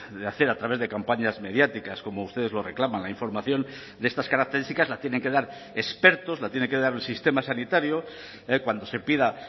de hacer a través de campañas mediáticas como ustedes lo reclaman la información de estas características la tienen que dar expertos la tiene que dar el sistema sanitario cuando se pida